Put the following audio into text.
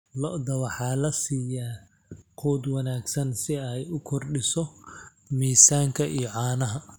Lo'da waxaa la siiyaa quud wanaagsan si ay u kordhiso miisaanka iyo caanaha.